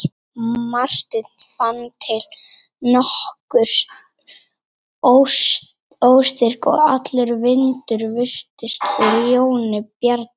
Marteinn fann til nokkurs óstyrks og allur vindur virtist úr Jóni Bjarnasyni.